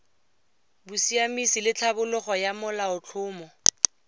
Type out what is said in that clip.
bosiamisi le tlhabololo ya molaotlhomo